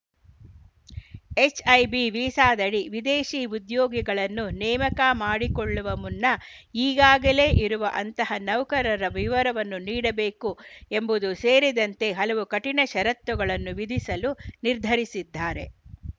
H I B ವೀಸಾದಡಿ ವಿದೇಶಿ ಉದ್ಯೋಗಿಗಳನ್ನು ನೇಮಕ ಮಾಡಿಕೊಳ್ಳುವ ಮುನ್ನ ಈಗಾಗಲೇ ಇರುವ ಅಂತಹ ನೌಕರರ ವಿವರವನ್ನು ನೀಡಬೇಕು ಎಂಬುದು ಸೇರಿದಂತೆ ಹಲವು ಕಠಿಣ ಷರತ್ತುಗಳನ್ನು ವಿಧಿಸಲು ನಿರ್ಧರಿಸಿದ್ದಾರೆ